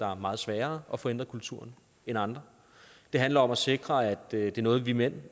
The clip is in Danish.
er meget sværere at få ændret kulturen end andre det handler om at sikre at det er noget vi mænd